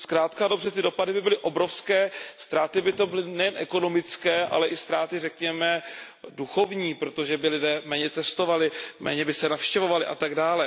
Zkrátka a dobře ty dopady by byly obrovské, ztráty by to byly nejen ekonomické, ale i ztráty řekněme duchovní, protože by lidé méně cestovali, méně by se navštěvovali atd.